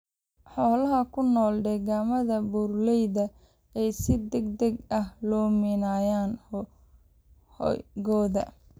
Xoolaha ku nool deegaannada buuraleyda ayaa si degdeg ah u luminaya hoygooda.